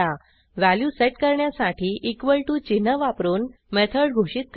value set करण्यासाठी चिन्ह वापरून मेथड घोषित करा